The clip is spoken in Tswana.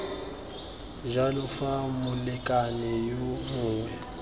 jalo fa molekane yo mongwe